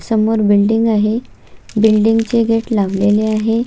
समोर बिल्डिंग आहे बिल्डिंगचे गेट लावलेले आहे.